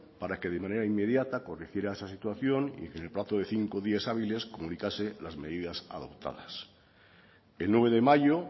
para que de manera inmediata corrigiera esa situación y que en el plazo de cinco días hábiles comunicase las medidas adoptadas el nueve de mayo